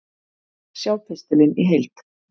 Sjá pistilinn í heild